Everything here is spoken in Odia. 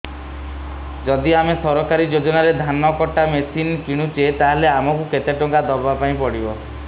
ଯଦି ଆମେ ସରକାରୀ ଯୋଜନାରେ ଧାନ କଟା ମେସିନ୍ କିଣୁଛେ ତାହାଲେ ଆମକୁ କେତେ ଟଙ୍କା ଦବାପାଇଁ ପଡିବ